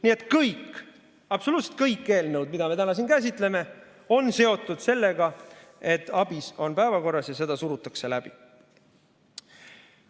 Nii et kõik, absoluutselt kõik eelnõud, mida me täna siin käsitleme, on seotud sellega, et ABIS on päevakorras ja seda surutakse läbi.